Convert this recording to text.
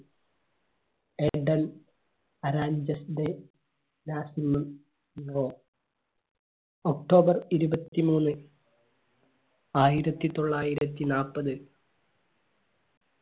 October ഇരുപത്തിമൂന്ന് ആയിരത്തിത്തൊള്ളായിരത്തി നാല്പത്